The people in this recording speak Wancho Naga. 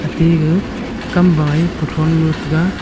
tega kamba e kuthron lo tai.